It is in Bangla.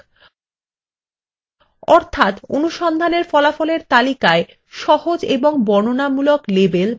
অর্থাত অনুসন্ধানের ফলাফলের তালিকায় সহজ এবং বর্ণনামূলক লেবেল বা শিরোনাম দেওয়া যাক